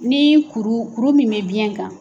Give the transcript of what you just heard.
Ni kuru kuru min bɛ biyɛn kan.